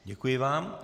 Děkuji vám.